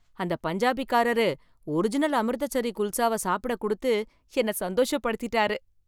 அந்த பஞ்சாபிகாரரு ஒரிஜினல் அமிர்தசரி குல்சாவை சாப்பிட கொடுத்து, என்ன சந்தோஷப்படுத்திட்டாரு